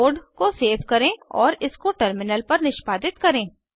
code को save करें और इसको टर्मिनल पर निष्पादित करें